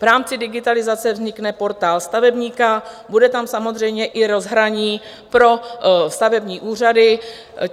V rámci digitalizace vznikne Portál stavebníka, bude tam samozřejmě i rozhraní pro stavební úřady.